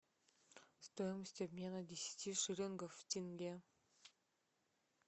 стоимость обмена десяти шиллингов в тенге